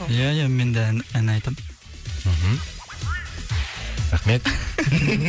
ия ия менде ән ән айтам мхм рахмет